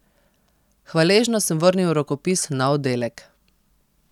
Hvaležno sem vrnil rokopis na oddelek.